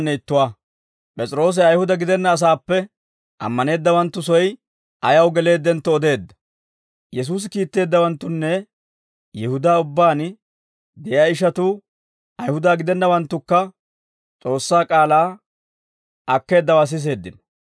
Yesuusi kiitteeddawanttunne Yihudaa ubbaan de'iyaa ishatuu, Ayihuda gidennawanttukka S'oossaa k'aalaa akkeeddawaa siseeddino.